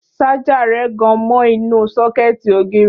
Ṣájà rẹ̀ gan mọ inú sọ́kẹ̀tì ògiri